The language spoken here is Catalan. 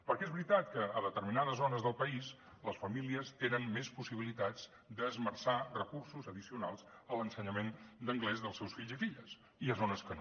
perquè és veritat que a determinades zones del país les famílies tenen més possibilitats d’esmerçar recursos addicionals a l’ensenyament d’anglès dels seus fills i filles i hi ha zones que no